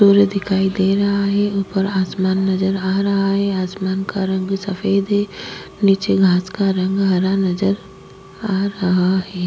दिखाई दे रहा है उपर आसमान नजर आ रहा है आसमान का रंग सफ़ेद है नीचे घास का रंग हरा नजर आ रहा है।